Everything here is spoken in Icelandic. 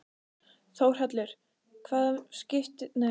Þórhallur: Hvaða máli skiptir þetta fjárhagslega fyrir okkur?